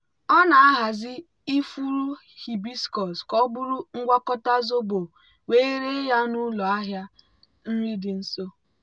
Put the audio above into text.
ọ na-ahazi ifuru hibiscus ka ọ bụrụ ngwakọta zobo wee ree ya n'ụlọ ahịa nri dị nso.